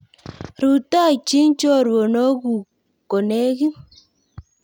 Rutoichi chorwokchu kolekit